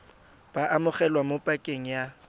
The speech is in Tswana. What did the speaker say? bo amogelwa mo pakeng ya